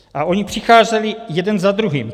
A ony přicházely jeden za druhým.